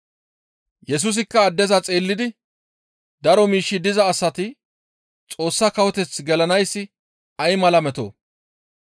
Yesusikka addeza xeellidi, «Daro miishshi diza asati Xoossa kawoteth gelanayssi ay mala metoo!